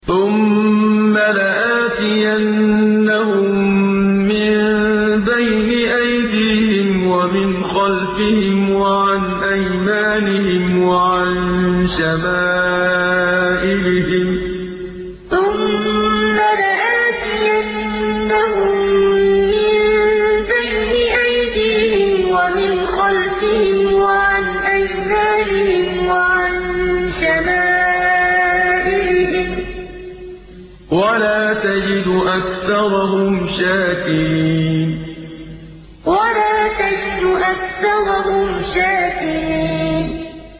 ثُمَّ لَآتِيَنَّهُم مِّن بَيْنِ أَيْدِيهِمْ وَمِنْ خَلْفِهِمْ وَعَنْ أَيْمَانِهِمْ وَعَن شَمَائِلِهِمْ ۖ وَلَا تَجِدُ أَكْثَرَهُمْ شَاكِرِينَ ثُمَّ لَآتِيَنَّهُم مِّن بَيْنِ أَيْدِيهِمْ وَمِنْ خَلْفِهِمْ وَعَنْ أَيْمَانِهِمْ وَعَن شَمَائِلِهِمْ ۖ وَلَا تَجِدُ أَكْثَرَهُمْ شَاكِرِينَ